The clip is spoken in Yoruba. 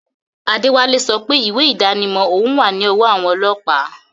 Adewale sope iwe idanimo oun wa ni owo awon olopa